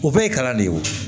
O bɛɛ ye kalan de ye o